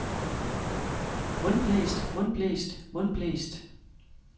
mundblæst mundblæst mundblæst